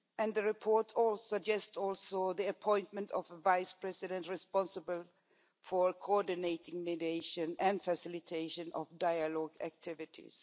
The report also suggests the appointment of a Vice-President responsible for coordinating the mediation and facilitation of dialogue activities.